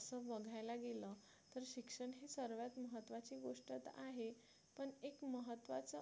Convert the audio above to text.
असं बघायला गेलं तर शिक्षण हे सर्वात महत्त्वाची गोष्ट तर आहेच पण एक महत्त्वाचं